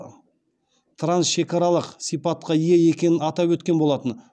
трансшекаралық сипатқа ие екенін атап өткен болатын